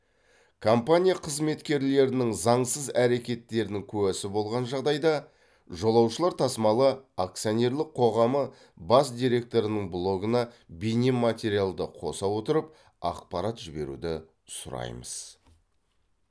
компания қызметкерлерінің заңсыз әрекеттерінің куәсі болған жағдайда жолаушылар тасымалы акционерлік қоғамы бас директорының блогына бейнематериалды қоса отырып ақпарат жіберуді сұраймыз